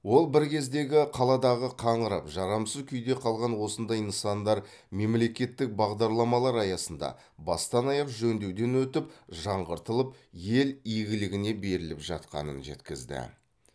ол біркездегі қаладағы қаңырап жарамсыз күйде қалған осындай нысандар мемлекеттік бағдарламалар аясында бастан аяқ жөндеуден өтіп жаңғыртылып ел игілігіне беріліп жатқанын жеткізді